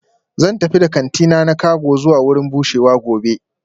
Zan tafi da kantina na cago zuwa wurin bushewa gobe